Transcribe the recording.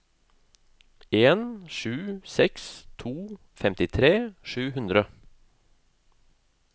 en sju seks to femtitre sju hundre